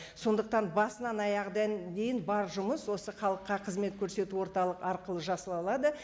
сондықтан басынан дейін бар жұмыс осы халыққа қызмет көрсету орталық арқылы